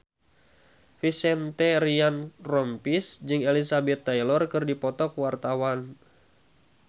Vincent Ryan Rompies jeung Elizabeth Taylor keur dipoto ku wartawan